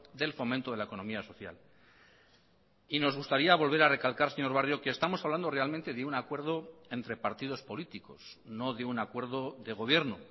del fomento de la economía social y nos gustaría volver a recalcar señor barrio que estamos hablando realmente de un acuerdo entre partidos políticos no de un acuerdo de gobierno